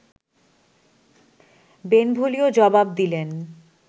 Benvolio জবাব দিলেন